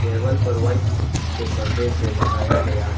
table पर white से परदे से लगाया गया --